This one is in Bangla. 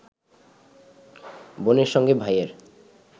বোনের সঙ্গে ভাইয়ের